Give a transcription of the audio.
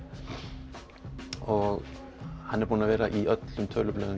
og hann er búinn að vera í öllum tölublöðum